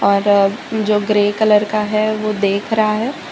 जो grey colour का है वो देख रहा है।